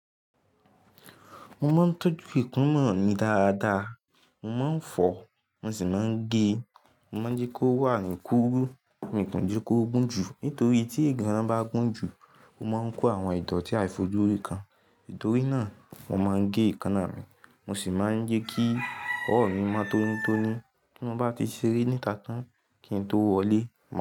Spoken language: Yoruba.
Mo máa ń tọ́jú ekanna mí dáadáa. Mo máa ń fọ̀, mo sì máa ń gé. Mo máa ń jẹ́ kí ó wà ní kúrú, mi kò ní jẹ́ kí ó gùn jù, nítorí tí ìganran bá gùn jù, ó máa ń kó àwọn ìdọ̀tí àìfojúrí kan. Nítorí náà, mo máa ń gé ekanná mi, mo sì máa ń jẹ́ kí ọ̀wọ mi máa tó ní tó ní. Bí mo bá ti ṣeré níta tán kí n tó wọlé, màá.